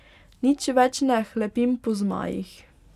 Nič več ne hlepim po zmajih.